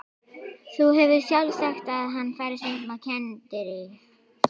Þú hefur sjálf sagt að hann fari stundum á kenndirí.